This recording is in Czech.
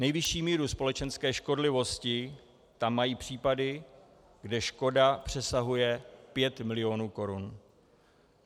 Nejvyšší míru společenské škodlivosti tam mají případy, kde škoda přesahuje 5 mil. korun.